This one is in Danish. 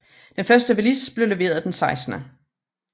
Den første Velis blev leveret den 16